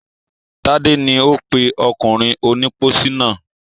Tádé ni ó pè ọkùnrin onípósí náà.